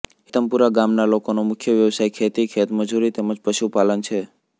હેતમપુરા ગામના લોકોનો મુખ્ય વ્યવસાય ખેતી ખેતમજૂરી તેમ જ પશુપાલન છે